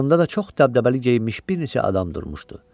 Yanında da çox dəbdəbəli geyinmiş bir neçə adam durmuşdu.